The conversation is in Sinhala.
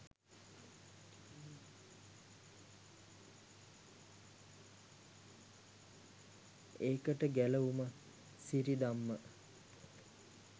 එකට ගැලවුම සිරිදම්ම